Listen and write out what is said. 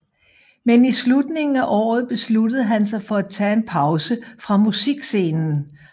Men i slutningen af året besluttede han sig for at tage en pause fra musikscenen